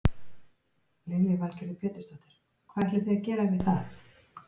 Lillý Valgerður Pétursdóttir: Hvað ætlið þið að gera við það?